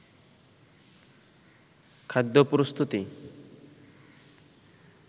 খাদ্য প্রস্তুতি